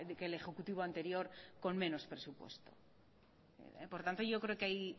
que el ejecutivo anterior con menos presupuesto por tanto yo creo que